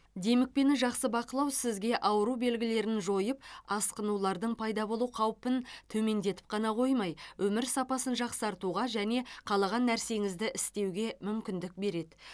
демікпені жақсы бақылау сізге ауру белгілерін жойып асқынулардың пайда болу қаупін төмендетіп қана қоймай өмір сапасын жақсартуға және қалаған нәрсеңізді істеуге мүмкіндік береді